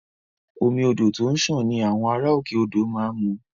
Omi odò tó ń sàn ni àwọn ará òkè odò má ń mu